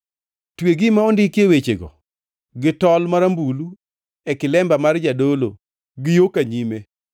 Twe gima ondikie wechego gi tol marambulu e kilemba mar jadolo gi yo ka nyime.